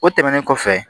O tɛmɛnen kɔfɛ